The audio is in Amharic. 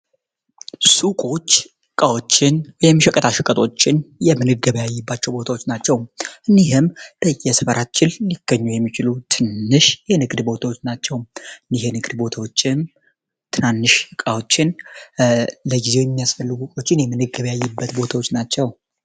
ሱቆች ቃዎችን የሚሸቀታሽቀጦችን የምንገበያይባቸው ቦታዎች ናቸውም እንዲህም ደየስፈራትችል ሊከኙ የሚችሉ ትንሽ የንግድ ቦታዎች ናቸው እንዲሔ ንግድ ቦታዎችም ትናንሽ ቃዎችን ለጊዜው የሚያስፈልጉቆችን የምንገበያይበት ቦታዎች ናቸው